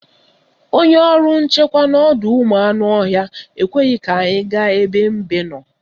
Onye ọrụ nchekwa n'ọdọụmụanụọhịa ekweghị ka anyị gaa ebe mbe nọ